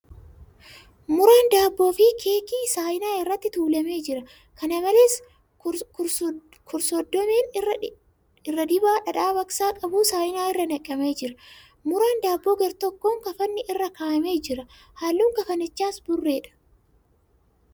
Muraan daabboo fi keekii saayinaa irratti tuulamee jira. Kana malees , kursoddomeen irra dibaa dhadhaa baqsaa qabu saayinaa irra naqamee jira. Muraan daabboo gar-tokkoon kafanni irra kaa'amee jira. Halluun kafanichaas burreedha.